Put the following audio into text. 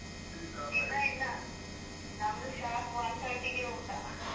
ಇಲ್ಲಾ ಇಲ್ಲಾ ನಮ್ದು sharp one thirty ಗೆ ಊಟ.